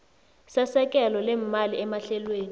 sesekelo leemali emahlelweni